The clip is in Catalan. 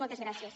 moltes gràcies